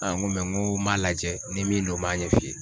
Aa n go mɛ n go n m'a lajɛ ni min do n b'a ɲɛ f'i ye